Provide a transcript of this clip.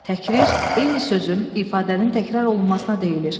Təkrar eyni sözün, ifadənin təkrar olunmasına deyilir.